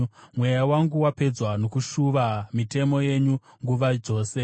Mweya wangu wapedzwa nokushuva mitemo yenyu nguva dzose.